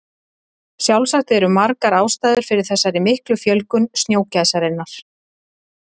Sjálfsagt eru margar ástæður fyrir þessari miklu fjölgun snjógæsarinnar.